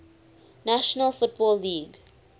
national football league